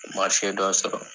Marise dɔ sɔrɔ.